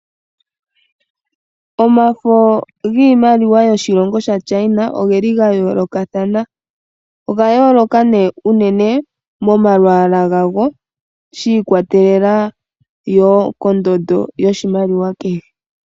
Omafo giimaliwa yoshilongo shaChina, ogeli ga yoolokathana. Ogaa yooloka nduno unene momalwaala gawo, shi ikwatelela wo kondando yoshimaliwa kehe.